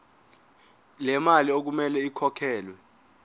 lemali okumele ikhokhelwe